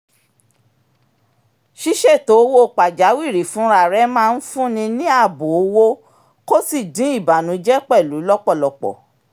ṣíṣètò owó pajawìrì fúnrararẹ máa ń fún ni ní ààbò owó kó sì dín ìbànújẹ pẹ̀lú lọ́pọ̀lọpọ̀